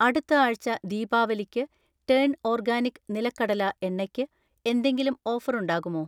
അടുത്ത ആഴ്ച ദീപാവലിക്ക് ടേൺ ഓർഗാനിക് നിലക്കടല എണ്ണ യ്ക്ക് എന്തെങ്കിലും ഓഫർ ഉണ്ടാകുമോ?